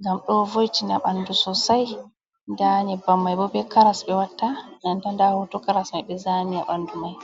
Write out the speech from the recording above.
ngam ɗo vo’itina ɓanɗu sosai, nda nyebbam mai bo be karas ɓe watta, nanta nda hoto karas mai ɓe zani ɓanɗu mai.